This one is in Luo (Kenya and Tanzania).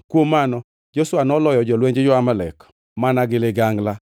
Kuom mano Joshua noloyo jolwenj jo-Amalek mana gi ligangla.